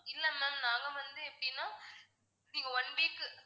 இல்ல ma'am நாங்க வந்து எப்படின்னா நீங்க one week